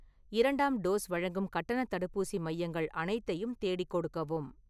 இரண்டாம் டோஸ் வழங்கும் கட்டணத் தடுப்பூசி மையங்கள் அனைத்தையும் தேடிக் கொடுக்கவும்